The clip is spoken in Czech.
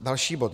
Další bod.